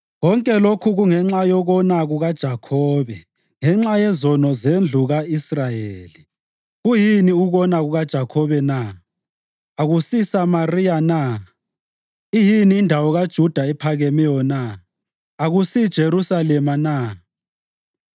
Konke lokhu kungenxa yokona kukaJakhobe, ngenxa yezono zendlu ka-Israyeli. Kuyini ukona kukaJakhobe na? AkusiSamariya na? Iyini indawo kaJuda ephakemeyo na? AkusiJerusalema na?